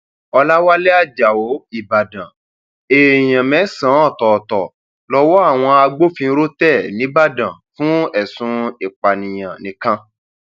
ọlàwálẹ ajáò ìbàdàn èèyàn mẹsànán ọtọọtọ lowó àwọn agbófinró tẹ nìbàdàn fún ẹsùn ìpànìyàn nìkan